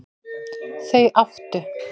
Þau áttu